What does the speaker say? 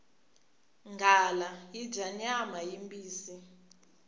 nghala yi dya nyama yimbisi